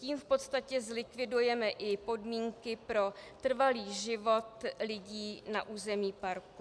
Tím v podstatě zlikvidujeme i podmínky pro trvalý život lidí na území parku.